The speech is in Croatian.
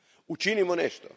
Učinimo nešto.